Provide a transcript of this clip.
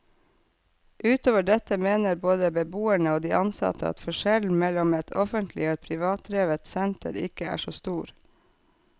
Utover dette mener både beboerne og de ansatte at forskjellen mellom et offentlig og et privatdrevet senter ikke er så stor.